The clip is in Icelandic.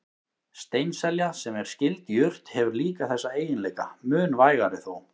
Steinselja, sem er skyld jurt, hefur líka þessa eiginleika, mun vægari þó.